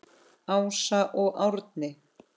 Ása og Árni.